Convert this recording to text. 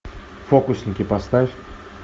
фокусники поставь